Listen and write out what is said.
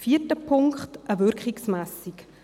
Der vierte Punkt ist eine Wirkungsmessung.